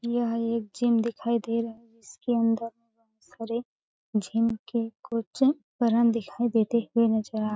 यह एक जिम दिखाई दे रहा है इसके अंदर सरे जिम के कुछ वरण दिखाई देते हुए नजर आए --